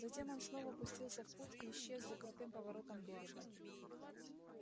затем он снова пустился в путь и исчез за крутым поворотом берега